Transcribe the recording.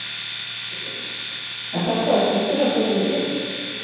Elísabet: Er þetta það skemmtilegasta sem þú gerir?